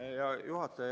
Hea juhataja!